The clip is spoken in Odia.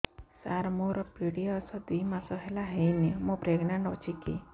ସାର ମୋର ପିରୀଅଡ଼ସ ଦୁଇ ମାସ ହେଲା ହେଇନି ମୁ ପ୍ରେଗନାଂଟ ଅଛି କି